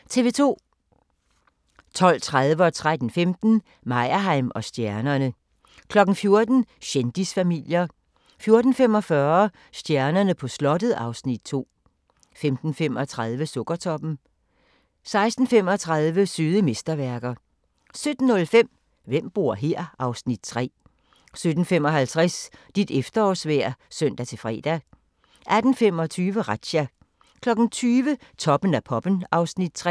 12:30: Meyerheim & stjernerne 13:15: Meyerheim & stjernerne 14:00: Kendisfamilier 14:45: Stjernerne på slottet (Afs. 2) 15:35: Sukkertoppen 16:35: Søde mesterværker 17:05: Hvem bor her? (Afs. 3) 17:55: Dit efterårsvejr (søn-fre) 18:25: Razzia 20:00: Toppen af poppen (Afs. 3)